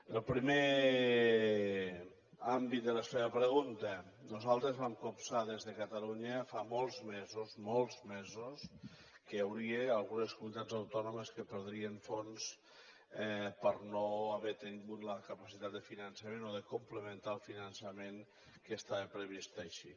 en el primer àmbit de la seva pregunta nosaltres vam copsar des de catalunya fa molts mesos molts mesos que hi hauria algunes comunitats autònomes que perdrien fons per no haver tingut la capacitat de finançament o de complementar el finançament que estava previst així